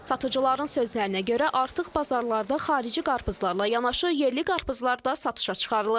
Satıcıların sözlərinə görə artıq bazarlarda xarici qarpızlarla yanaşı yerli qarpızlar da satışa çıxarılıb.